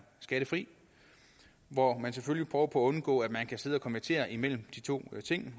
skattefri hvor man selvfølgelig prøver på at undgå at man kan sidde og konvertere imellem de to ting